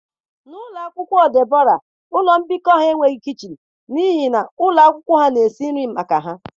N'ụlọ akwụkwọ Debra ụlọ mbikọ ha enweghị kichin n'ihi na ụlọ akwụkwọ ha na-esi nri maka ha